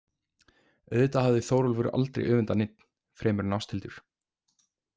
Auðvitað hafði Þórólfur aldrei öfundað neinn, fremur en Ásthildur.